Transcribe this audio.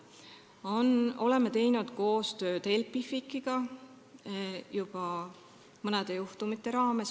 Mõne juhtumi raames oleme teinud koostööd Helpificiga.